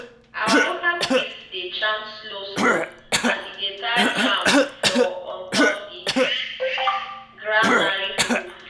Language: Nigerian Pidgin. our local priest dey chant slow slow as e dey tie charm for on top the granary roof.